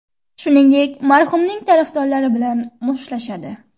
Shuningdek, marhumning tarafdorlari bilan mushtlashadi.